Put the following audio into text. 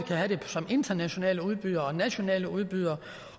internationale udbydere og nationale udbydere